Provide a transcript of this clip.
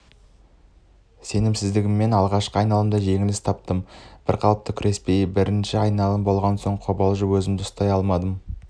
сенімсіздігімнен алғашқы айналымда жеңіліс таптым бірқалыпты күреспей бірінші айналым болған соң қобалжып өзімді ұстай алмадым